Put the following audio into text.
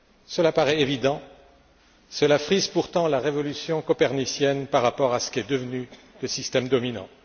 Cela paraît évident, cela frise pourtant la révolution copernicienne par rapport à ce qu'est devenu le système dominant.